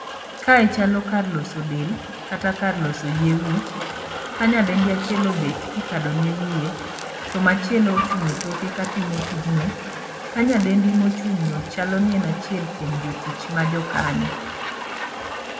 Kae chalo kar loso del kata kar loso yie wich, ka nyadendi achiel obet ka ikado ne wiye to machielo ochung' e toke ka timo tijno. Ka nyadendi mochung'no chalo ni en achiel kuom jotich ma jo kanyo.